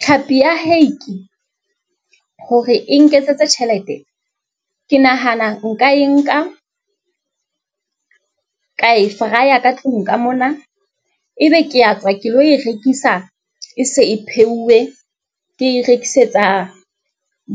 Tlhapi ya hake hore e nketsetse tjhelete. Ke nahana nka e nka ka e fryer ka tlung ka mona, ebe ke a tswa ke lo e rekisa e se e pheuwe. Ke rekisetsa